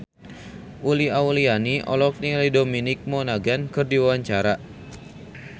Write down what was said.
Uli Auliani olohok ningali Dominic Monaghan keur diwawancara